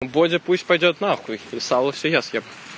бодя пусть пойдёт и сало всё я съем